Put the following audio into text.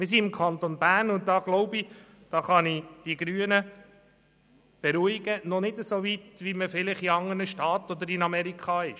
Wir sind im Kanton Bern – ich denke, da kann ich die Grünen beruhigen – noch nicht so weit, wie man es in anderen Staaten oder in den USA ist.